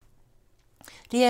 DR2